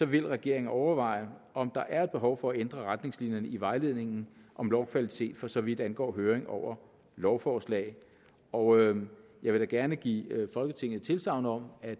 vil regeringen overveje om der er behov for at ændre retningslinjerne i vejledningen om lovkvalitet for så vidt angår høring over lovforslag og jeg vil da gerne give folketinget tilsagn om at